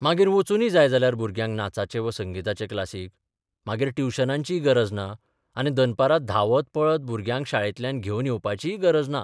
मागीर बचूंदी जाय जाल्यार भुरग्यांक नाचाचे वा संगिताचे क्लासीक, मागीर ट्युशनांचीय गरज ना आनी दनपरां धांवत पळत भुरग्यांक शाळेंतल्यान घेवन येवपाचीय गरज ना.